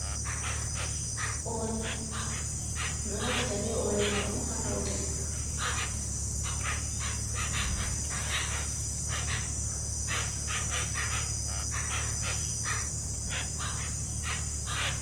Ooli min ɗo naftira be ooli may on, haa fawne.